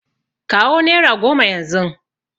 Kawo nera goma yanzun nan!